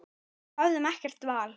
Við höfðum ekkert val.